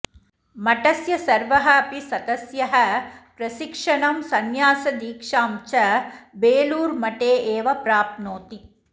मठस्य सर्वः अपि सदस्यः प्रशिक्षणं संन्यासदीक्षां च बेलूरुमठे एव प्राप्नोति